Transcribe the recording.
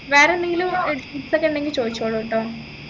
വേറെ എന്തെങ്കിലും ഏർ ഒക്കെ ഉണ്ടെങ്കി ചോദിച്ചോളൂ ട്ടോ